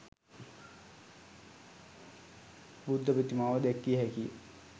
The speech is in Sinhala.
බුද්ධ ප්‍රතිමාව දැක්විය හැකිය.